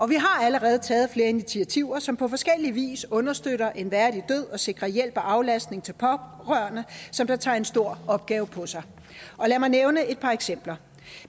vi har allerede taget flere initiativer som på forskellig vis understøtter en værdig død og sikrer hjælp og aflastning til pårørende som tager en stor opgave på sig lad mig nævne et par eksempler